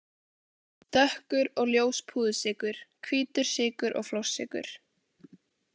Dökkur og ljós púðursykur, hvítur sykur og flórsykur.